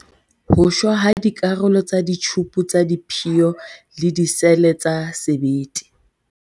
Ho shwa ha dikarolo tsa ditjhupu tsa diphiyo le disele tsa sebete.